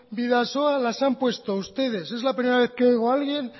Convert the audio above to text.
bidasoa las han puesto ustedes es la primera vez que oigo a alguien